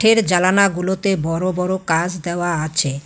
এর জালানাগুলোতে বড় বড় কাচ দেওয়া আছে।